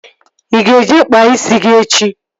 Ị ga-eje kpaa isi gị echi?